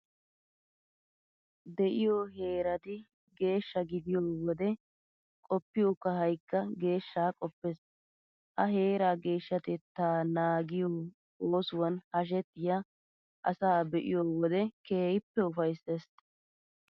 De'iyo heerati geeshsha gidiyo wode qoppiyo kahaykka geeshshaa qoppees. Ha heeraa geeshshatettaa naagiyo oosuwan hashetiya asaa be'iyo wode keehippe ufayssees.